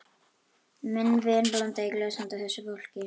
Minn vin blandaði í glös handa þessu fólki.